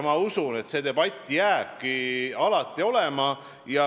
Ma usun, et see debatt jääbki alati olema.